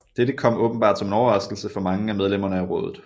Dette kom åbenbart som en overraskelse for mange af medlemmerne af rådet